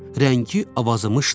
Rəngi avazımışdı.